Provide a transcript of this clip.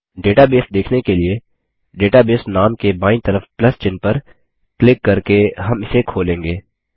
database देखने के लिए डेटाबेस नाम के बायीं तरफ प्लस चिह्न पर क्लिक करके हम इसे खोलेंगे